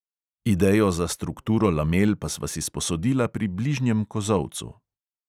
Idejo za strukturo lamel pa sva si sposodila pri bližnjem kozolcu.